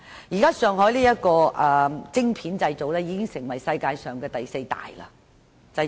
現在上海的晶片製造業已在世界排名第四。